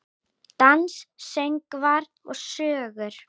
Dans, söngvar og sögur.